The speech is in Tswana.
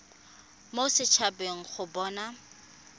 mo set habeng go bona